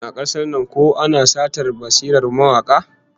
Shin a kasar nan ko ana satar basirar mawaka?